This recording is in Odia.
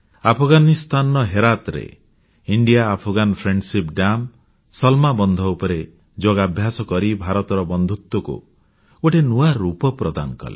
ଆଫଗାନିସ୍ଥାନର ହେରାତ୍ ଠାରେ ଭାରତଆଫଗାନ ମୈତ୍ରୀ ଡେମ ସଲମା ବନ୍ଧ ଉପରେ ଯୋଗାଭ୍ୟାସ କରି ଭାରତର ବନ୍ଧୁତ୍ୱକୁ ଗୋଟିଏ ନୂଆ ରୂପ ପ୍ରଦାନ କଲେ